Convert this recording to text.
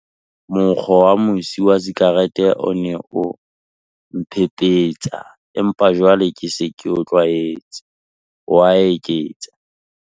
"Sethatong, monkgo wa mosi wa sikarete o ne o mphephetsa, empa jwale ke se ke o tlwaetse," o a eketsa.